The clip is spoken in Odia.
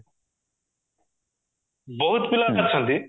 ବହୁତ ପିଲା ଅଛନ୍ତି